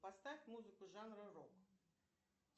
поставь музыку жанра рок